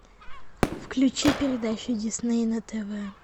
включи передачу дисней на тв